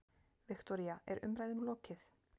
Viktoría, er umræðum lokið?